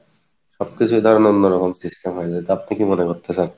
সবকিছুই অন্য ধরনের system তা আপনি কী মনে করতেছেন?